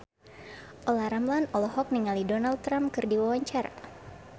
Olla Ramlan olohok ningali Donald Trump keur diwawancara